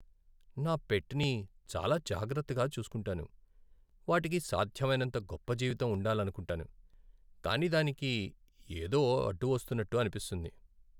నా పెట్ని చాలా జాగ్రత్తగా చూస్కుంటాను, వాటికి సాధ్యమైనంత గొప్ప జీవితం ఉండాలనుకుంటాను, కానీ దానికి ఏదో అడ్డు వస్తున్నట్టు అనిపిస్తుంది.